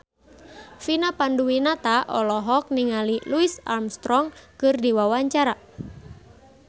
Vina Panduwinata olohok ningali Louis Armstrong keur diwawancara